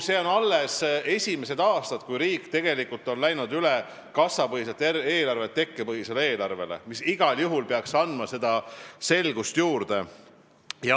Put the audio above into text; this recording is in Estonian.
Need on alles esimesed aastad, kui riik on läinud kassapõhiselt eelarvelt üle tekkepõhisele eelarvele, mis igal juhul peaks andma selgust juurde.